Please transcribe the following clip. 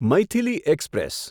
Maithili express